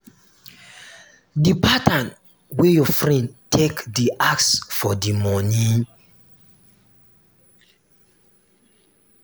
the pattern wey your friend take dey ask for di money